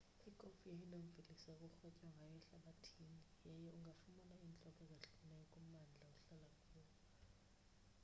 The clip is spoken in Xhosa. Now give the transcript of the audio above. ikofu yeyona mveliso kurhwetywa ngayo ehlabathini yaye ungafumana iintlobo ezahlukahlukeneyo kummandla ohlala kuwo